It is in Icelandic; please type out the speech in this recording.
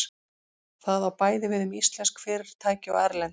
Það á bæði við um íslensk fyrirtæki og erlend.